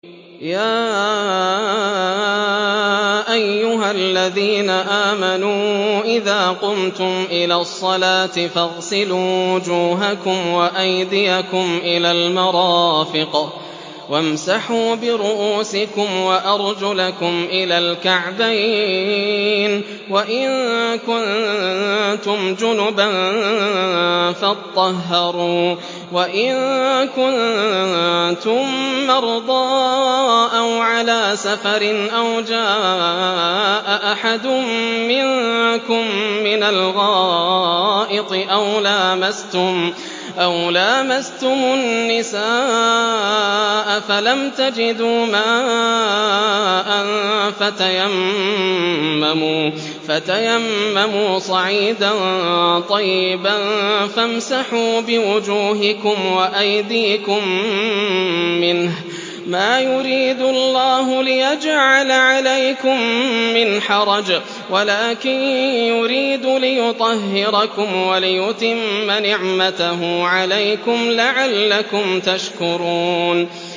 يَا أَيُّهَا الَّذِينَ آمَنُوا إِذَا قُمْتُمْ إِلَى الصَّلَاةِ فَاغْسِلُوا وُجُوهَكُمْ وَأَيْدِيَكُمْ إِلَى الْمَرَافِقِ وَامْسَحُوا بِرُءُوسِكُمْ وَأَرْجُلَكُمْ إِلَى الْكَعْبَيْنِ ۚ وَإِن كُنتُمْ جُنُبًا فَاطَّهَّرُوا ۚ وَإِن كُنتُم مَّرْضَىٰ أَوْ عَلَىٰ سَفَرٍ أَوْ جَاءَ أَحَدٌ مِّنكُم مِّنَ الْغَائِطِ أَوْ لَامَسْتُمُ النِّسَاءَ فَلَمْ تَجِدُوا مَاءً فَتَيَمَّمُوا صَعِيدًا طَيِّبًا فَامْسَحُوا بِوُجُوهِكُمْ وَأَيْدِيكُم مِّنْهُ ۚ مَا يُرِيدُ اللَّهُ لِيَجْعَلَ عَلَيْكُم مِّنْ حَرَجٍ وَلَٰكِن يُرِيدُ لِيُطَهِّرَكُمْ وَلِيُتِمَّ نِعْمَتَهُ عَلَيْكُمْ لَعَلَّكُمْ تَشْكُرُونَ